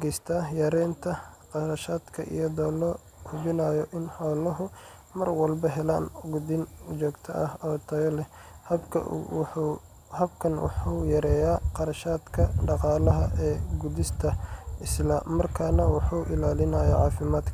geysataa yareynta kharashaadka, iyadoo la hubinayo in xooluhu mar walba helaan quudin joogto ah oo tayo leh. Habkan wuxuu yareeyaa kharashaadka dhaqaalaha ah ee quudinta, isla markaana wuxuu ilaalinayaa cafimad kaa.